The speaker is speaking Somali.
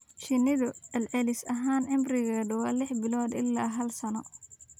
Shinnidu celcelis ahaan cimrigeedu waa lix bilood ilaa hal sano.